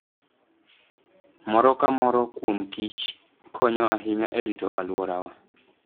Moro ka moro kuom kich konyo ahinya e rito alworawa.